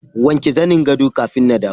wanke zanin gado kafin na dawo.